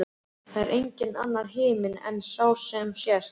Það er enginn annar himinn en sá sem sést.